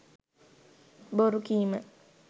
බොරුකීම